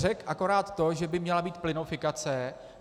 Řekl akorát to, že by měla být plynofikace.